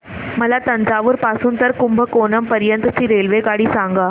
मला तंजावुर पासून तर कुंभकोणम पर्यंत ची रेल्वेगाडी सांगा